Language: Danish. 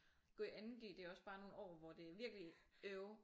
Gå i 2.g det er også bare nogle år hvor det er virkelig øv